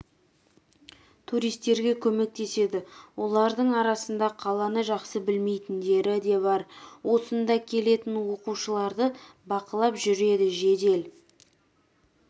туристерге көмектеседі олардың арасында қаланы жақсы білмейтіндері де бар осында келетін оқушыларды бақылап жүреді жедел